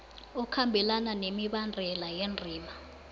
okhambelana nemibandela yendima